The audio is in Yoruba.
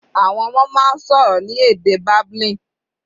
Àwọn ọmọ máa ń sọ̀rọ̀ ní èdè babbling.